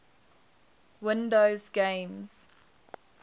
windows games